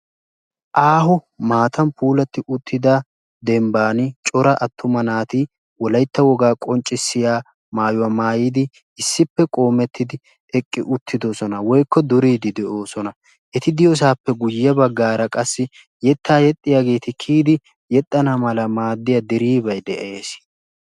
Aaho maatan puulatti uttida dembban cora attuma naati wolaytta wogaa qonccisiyaa maayuwaa maayidi issippe qoomettidi eqqi uttidosona. woykko duriidi de'oosona. eti diyoosappe guye baggaara qassi yettaa yexxiyaageti kiyidi yexxana mala maaddiyaa diriibay de'ees.